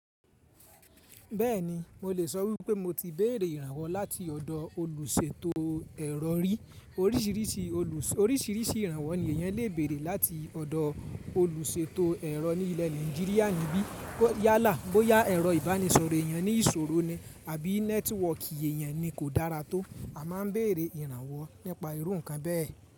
Bẹ́ẹ̀ni, mo lè sọ wípé mo ti béèrè ìrànwọ́ láti ọ̀dọ̀ olùṣètò ẹ̀rọ rí. Oríṣìíríṣìí ìrànwọ́ ni èèyàn lè béèrè láti ọ̀dọ̀ olùṣètò ẹ̀rọ ní ilẹ̀ Nàìjíríà níbí. Boyá ẹ̀rọ ìbánisọ̀rọ̀ èèyàn ní ìṣòro ni àbí nẹ́tíwọ̀kì èèyàn ni kò dára tó, a má a ń béèrè ìrànwọ́ nípa irú nǹkan bẹ́ẹ̀